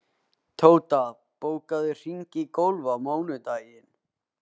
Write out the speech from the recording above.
Tóta, bókaðu hring í golf á mánudaginn.